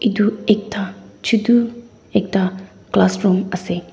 etu ekta chotu ekta classroom ase.